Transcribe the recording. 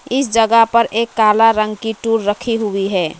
इस जगह पर एक काला रंग की टूल रखी हुई है।